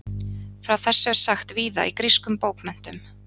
Frá þessu er sagt víða í grískum bókmenntum.